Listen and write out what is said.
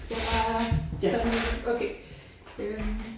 Skal jeg tage den okay øh